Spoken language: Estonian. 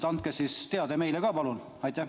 Andke siis meile ka teada, palun!